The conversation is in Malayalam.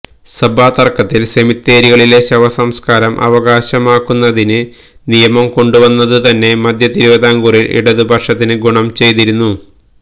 സഭാ തർക്കത്തിൽ സെമിത്തേരികളിലെ ശവസംസ്കാരം അവകാശമാക്കുന്നതിന് നിയമം കൊണ്ടുവന്നതുതന്നെ മധ്യതിരുവിതാംകൂറിൽ ഇടതുപക്ഷത്തിനു ഗുണം ചെയ്തിരുന്നു